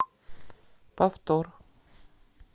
повтор